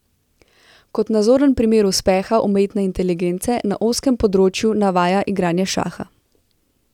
Kot nazoren primer uspeha umetne inteligence na ozkem področju navaja igranje šaha.